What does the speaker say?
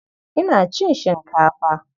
Ina cin shinkafa.